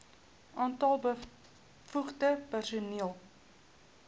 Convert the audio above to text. aantal bevoegde personeel